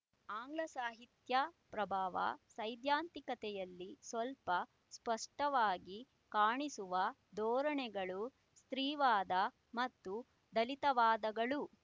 ಆಂಗ್ಲಸಾಹಿತ್ಯ ಪ್ರಭಾವ ಸೈದ್ಧಾಂತಿಕತೆಯಲ್ಲಿ ಸ್ವಲ್ಪ ಸ್ಫುಟವಾಗಿ ಕಾಣಿಸುವ ಧೋರಣೆಗಳು ಸ್ತ್ರೀವಾದ ಮತ್ತು ದಲಿತವಾದಗಳು